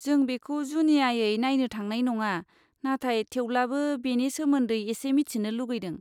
जों बेखौ जुनियायै नायनो थांनाय नङा, नाथाय थेवब्लाबो बेनि सोमोन्दै एसे मिथिनो लुगैदों।